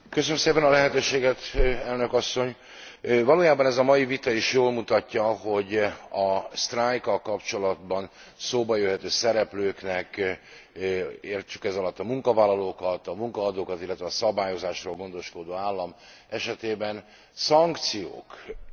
Valójában ez a mai vita is jól mutatja, hogy a sztrájkkal kapcsolatban szóba jöhető szereplőknek, értsük ez alatt a munkavállalókat, a munkaadókat, illetve a szabályozásról gondoskodó állam esetében, szankciók egyedül a munkavállalókat sújthatják.